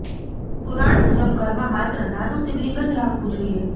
પુરાણ મુજબ ઘરમાં માત્ર નાનું શિવલિંગ જ રાખવું જોઈએ